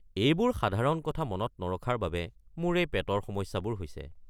এইবোৰ সাধাৰণ কথা মনত নৰখাৰ বাবে মোৰ এই পেটৰ সমস্যাবোৰ হৈছে।